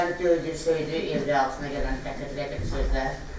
Məni döyür, söyür, evdə altına gələndə təhqir elədiyim sözlər.